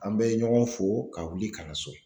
An bɛ ɲɔgɔn fo ka wuli ka na so.